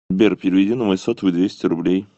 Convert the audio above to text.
сбер переведи на мой сотовый двести рублей